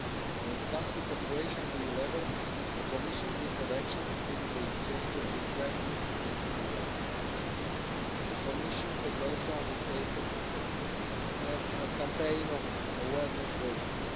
When it comes to cooperation at EU level, the Commission's list of actions, including the exchange of good practice, is to be welcomed. The Commission has also undertaken a campaign of awareness raising.